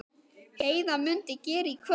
Heiða mundi gera í kvöld.